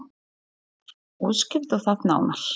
Fréttamaður: Útskýrðu það nánar?